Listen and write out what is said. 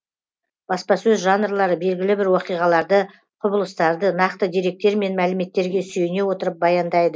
баспасөз жанрлары белгілі бір оқиғаларды құбылыстарды нақты деректер мен мәліметтерге сүйене отырып баяндайды